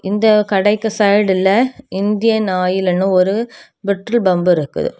இந்த கடைக்கு சைடுல இந்தியன் ஆயில் அன்னு ஒரு பெட்ரோல் பம்ப் இருக்கு.